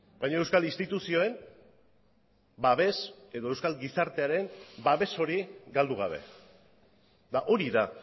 baina euskal instituzioen babes edo euskal gizartearen babes hori galdu gabe eta hori da